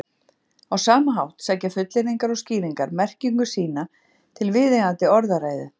á sama hátt sækja fullyrðingar og skýringar merkingu sína til viðeigandi orðræðu